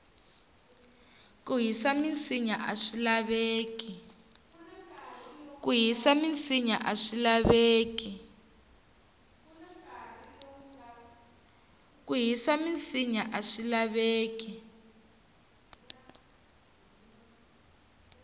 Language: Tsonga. ku hisa minsinya aswi laveki